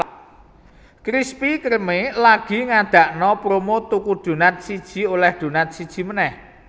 Krispy Kreme lagi ngadakno promo tuku donat siji oleh donat siji meneh